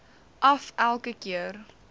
af elke keer